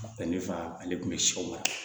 Bɛnɛ fa ale tun bɛ sɛw mara